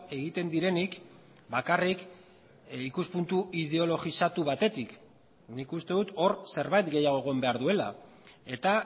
egiten direnik bakarrik ikuspuntu ideologizatu batetik nik uste dut hor zerbait gehiago egon behar duela eta